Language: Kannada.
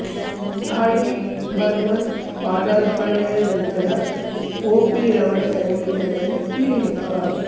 ಆರ್ ಡಿ ಬರ್ಮನ್ ಪಾದಾರ್ಪಣೆಯ ನಂತರ ಒಪಿ ರವರ ಸಂಗೀತದಲ್ಲಿ ಇಳಿಮುಖ